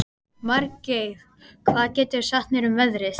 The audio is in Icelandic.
Margeir, hvað geturðu sagt mér um veðrið?